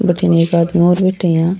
बठीने एक आदमी और बैठ्यो है इया।